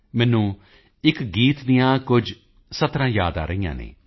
ਮੈਨੂੰ ਇੱਕ ਗੀਤ ਦੀਆਂ ਕੁਝ ਸਤਰਾਂ ਪੰਕਤੀਆਂ ਯਾਦ ਆ ਰਹੀਆਂ ਹਨ